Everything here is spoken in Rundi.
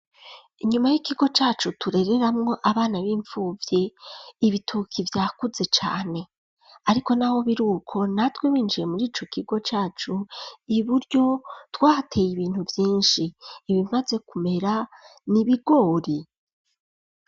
Inyuma y'ikigo cacu turereramwo abana b'imfuvyi ibitoke vyakuze cane ariko n'aho birukwo natwe binjiye muri ico kigo cacu iburyo twateye ibintu vyinshi ibimaze kumera n'ibigori.